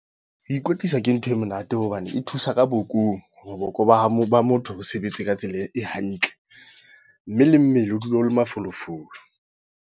Ho ikwetlisa ke ntho e monate. Hobane e thusa ka bokong. Hore boko ba motho bo sebetse ka tsela e hantle. Mme le mmele o dule o le mafolofolo.